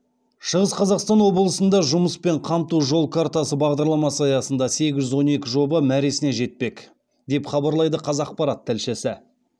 шығыс қазақстан облысында жұмыспен қамту жол картасы бағдарламасы аясында сегіз жүз он екі жоба мәресіне жетпек деп хабарлайды қазақпарат тілшісі